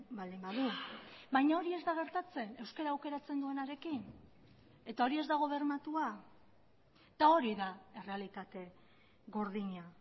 baldin badu baina hori ez da gertatzen euskara aukeratzen duenarekin eta hori ez dago bermatua eta hori da errealitate gordina